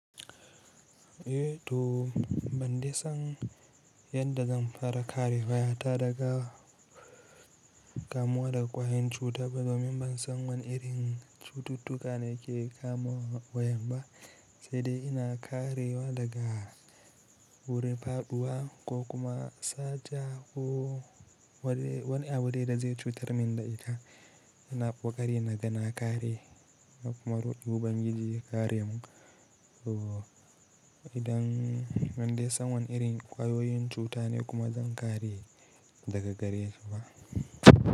Eh to ban dai san yadda zan fara kare waya ta daga kamuwa da ƙwayan cuta ba domin ban san wane irin cututtuka da ke kama wa yam ba, sai dai ina karewa daga wuri faɗuwa ko kuma sata ko wani abu da zai cutar min da ita. Ina ƙokari na gana kare, kuma roki ubangiji ya karemu. To idan ban dai san wane irin ƙwayoyin cuta ne kuma zan kare daga gare shi ba.